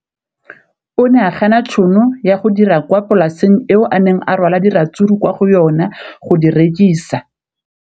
O ne a gana tšhono ya go dira kwa polaseng eo a neng rwala diratsuru kwa go yona go di rekisa.